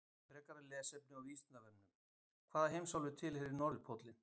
Frekara lesefni á Vísindavefnum: Hvaða heimsálfu tilheyrir norðurpóllinn?